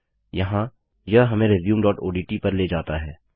यहाँ यह हमें resumeओडीटी पर ले जाता है